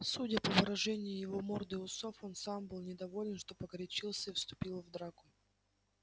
судя по выражению его морды и усов он сам был недоволен что погорячился и вступил в драку